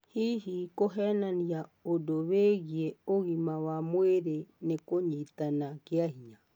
Hihi kũhenania ũndũ wĩgĩe ũgĩma wa mwĩrĩ nĩ kũnyitana kĩa hinya?